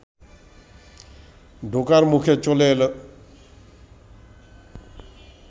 ঢোকার মুখে চলে এলো